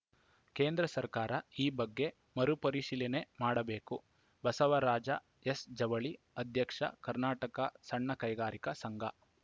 ಕೇಂದ್ರ ಸರ್ಕಾರ ಈ ಬಗ್ಗೆ ಮರು ಪರಿಶೀಲನೆ ಮಾಡಬೇಕು ಬಸವರಾಜ ಎಸ್‌ಜವಳಿ ಅಧ್ಯಕ್ಷ ಕರ್ನಾಟಕ ಸಣ್ಣ ಕೈಗಾರಿಕಾ ಸಂಘ